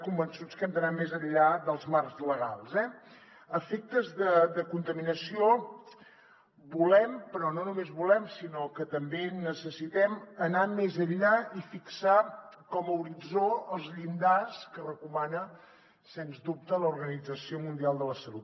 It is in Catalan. convençuts que hem d’anar més enllà dels marcs legals eh a efectes de contaminació volem però no només volem sinó que també necessitem anar més enllà i fixar com a horitzó els llindars que recomana sens dubte l’organització mundial de la salut